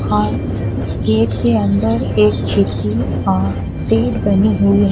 अह gate के अंदर एक चिक्की अह सीट बनी हुई है।